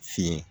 Fin